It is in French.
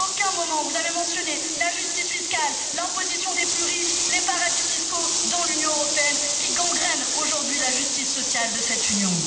À aucun moment vous n'avez mentionné la justice fiscale, l'imposition des plus riches, les paradis fiscaux dans l'Union européenne, qui gangrènent aujourd'hui la justice sociale de cette Union.